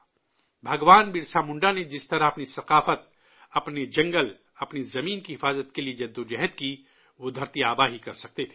بھگوان برسا منڈا نے جس طرح اپنی ثقافت، اپنے جنگل، اپنی زمین کی حفاظت کے لیے جدوجہد کی، وہ دھرتی آبا ہی کر سکتے تھے